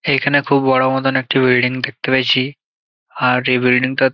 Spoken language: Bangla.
এখানে খুব বড় মতন একটি বিল্ডিং দেখতে পেয়েছি আর এই বিল্ডিং -টা --